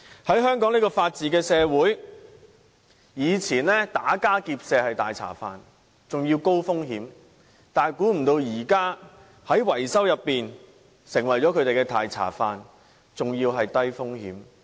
在香港這個法治社會，以前打家劫舍是"大茶飯"，而且高風險，想不到如今維修卻成為他們低風險的"大茶飯"。